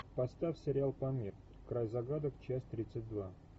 поставь сериал памир край загадок часть тридцать два